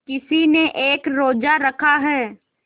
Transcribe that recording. किसी ने एक रोज़ा रखा है